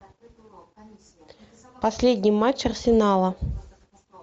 последний матч арсенала